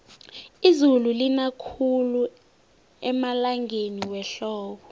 izulu lina khulu emalangeni wehlobo